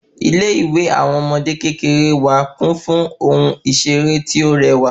Ilé ìwé àwọn ọmọdé kékeré wá kún fún ohun iṣere ti ọ rẹwà